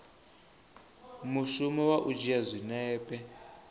mushumo wa u dzhia zwinepe